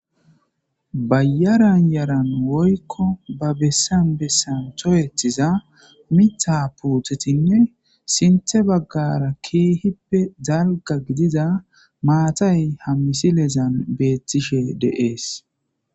Bayaran yaran woykko ba bessan bessan towetiza mita poothetinne sinthe baggara keehippe zalga gidida maatay hammisilezan beettishe deees.